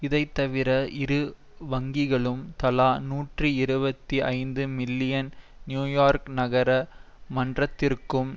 இதை தவிர இரு வங்கிகளும் தலா நூற்றி இருபத்தி ஐந்து மில்லியன் நியூயோர்க் நகர மன்றத்திற்கும்